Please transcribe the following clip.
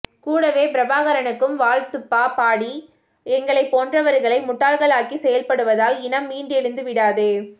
கூடவே பிரபாகரனுக்கும் வாழ்த்துப்பா பாடி எங்களைப் போன்றவர்களை முட்டாளாக்கி செயல்படுவதால் இனம் மீண்டெழுந்து விடாது